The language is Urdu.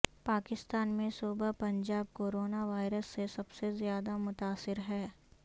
پاکستان میں صوبہ پنجاب کورونا وائرس سے سب سے زیادہ متاثر ہے